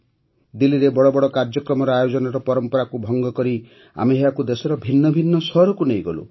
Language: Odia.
ଦିଲ୍ଲୀରେ ବଡ଼ ବଡ଼ କାର୍ଯ୍ୟକ୍ରମର ଆୟୋଜନର ପରମ୍ପରାକୁ ଭଙ୍ଗ କରି ଆମେ ଏହାକୁ ଦେଶର ଭିନ୍ନ ଭିନ୍ନ ସହରକୁ ନେଇଗଲୁ